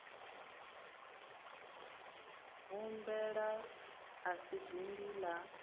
gobela a si dindi la